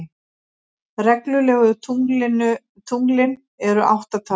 Reglulegu tunglin eru átta talsins.